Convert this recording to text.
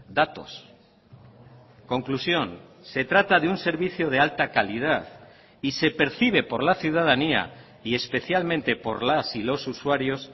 datos conclusión se trata de un servicio de alta calidad y se percibe por la ciudadanía y especialmente por las y los usuarios